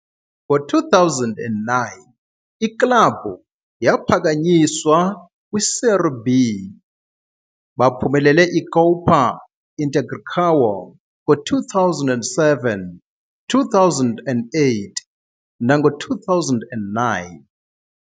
In I-2009, iklabhu yaphakanyiswa kwi-Série B. Baphumelele iCopa Integração ngo-2007, 2008, nango-2009.